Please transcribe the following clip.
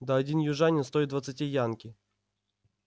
да один южанин стоит двадцати янки